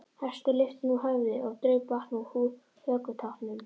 Hestur lyfti nú höfði og draup vatn úr hökutoppnum.